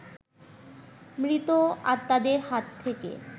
মৃত আত্মাদের হাত থেকে